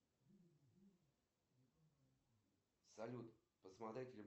салют в состав чего входит гипотеза ходжа